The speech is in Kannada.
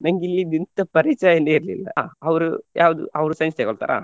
ನಂಗಿಲ್ಲಿದ್ದ್ ಎಂಥ ಪರಿಚಯನೆ ಇರ್ಲಿಲ್ಲ ಹಾ ಅವ್ರು ಯಾವುದು ಅವ್ರು science ತೆಕೊಳ್ತಾರಾ.